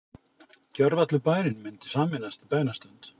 Gjörvallur bærinn mundi sameinast í bænastund.